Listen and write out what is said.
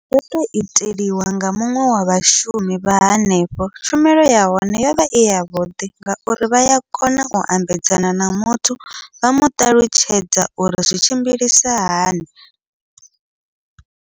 Ndo to iteliwa nga muṅwe wa vhashumi vha hanefho, tshumelo yahone yovha i yavhuḓi ngauri vha ya kona u ambedzana na muthu vha muṱalutshedza uri zwi tshimbilisa hani.